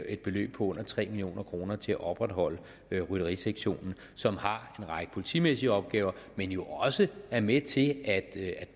et beløb på under tre million kroner til at opretholde rytterisektionen som har en række politimæssige opgaver men jo også er med til at